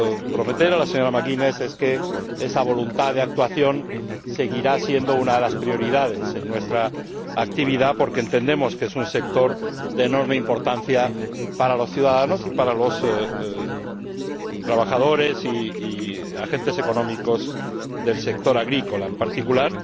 prometer a la señora McGuinness es que esa voluntad de actuación seguirá siendo una de las prioridades en nuestra actividad porque entendemos que es un sector de enorme importancia para los ciudadanos y para los trabajadores y agentes económicos del sector agrícola en particular.